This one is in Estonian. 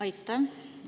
Aitäh!